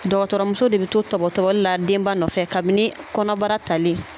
Dɔgɔtɔrɔmuso de bɛ to tɔbɔtɔbɔli la denba nɔfɛ kabini kɔnɔbara talen